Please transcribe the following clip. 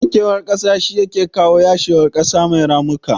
Wankewar kasa shi yake kawo yashewar kasa mai ramuka